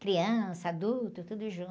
Criança, adulto, tudo junto.